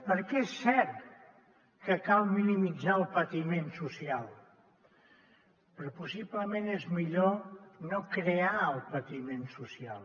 perquè és cert que cal minimitzar el patiment social però possiblement és millor no crear el patiment social